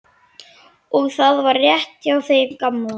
Og það var rétt hjá þeim gamla.